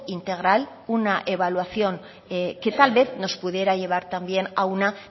integral una evaluación que tal vez nos pudiera llevar también a una